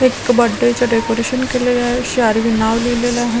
एक बर्थडे चे डेकोरेशन के लिए श्यारी नाव दिलेले आहे.